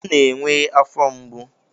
M na-enwe afọ mgbu.